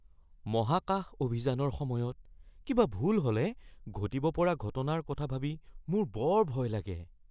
মহাকাশ অভিযানৰ সময়ত কিবা ভুল হ’লে ঘটিব পৰা ঘটনাৰ কথা ভাবি মোৰ বৰ ভয় লাগে।